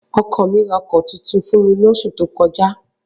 Ọkọ mi ra ọkọ̀ tuntun fún mi lóṣù tó kọjá.